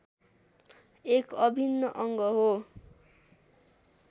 एक अभिन्न अङ्ग हो